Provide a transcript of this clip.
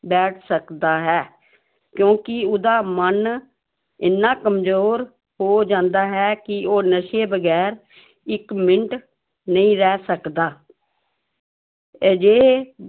ਬੈਠ ਸਕਦਾ ਹੈ, ਕਿਉਂਕਿ ਉਹਦਾ ਮਨ ਇੰਨਾ ਕੰਮਜ਼ੋਰ ਹੋ ਜਾਂਦਾ ਹੈ ਕਿ ਉਹ ਨਸ਼ੇ ਵਗ਼ੈਰ ਇੱਕ ਮਿੰਟ ਨਹੀਂ ਰਹਿ ਸਕਦਾ ਅਜਿਹੇ